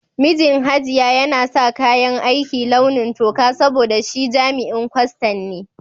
Mijin Hajiya yana sa kayan aiki launi toka saboda shi jami'in kwastan ne.